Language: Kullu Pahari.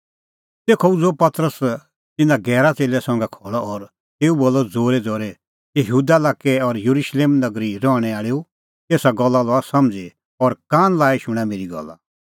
तेखअ उझ़ुअ पतरस तिन्नां गैरा च़ेल्लै संघै खल़अ और तेऊ बोलअ ज़ोरैज़ोरै हे यहूदा लाक्कै और येरुशलेम नगरी रहणैं आल़ैओ एसा गल्ला लआ समझ़ी और कान लाई शूणां मेरी गल्ला